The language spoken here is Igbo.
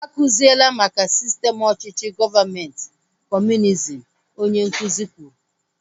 A kuzila maka sistem ọchịchị gọọmenti kọmunizm! Onye nkụzi kwuru